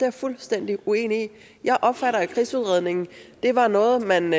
er fuldstændig uenig i jeg opfatter at krigsudredningen var noget man